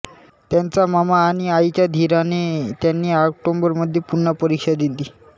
त्यांच्या मामा आणि आईच्या धीराने त्यांनी ऑक्टोबरमध्ये पुन्हा परीक्षा दिली